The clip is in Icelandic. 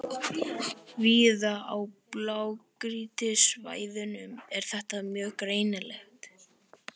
Víða á blágrýtissvæðunum er þetta mjög greinilegt.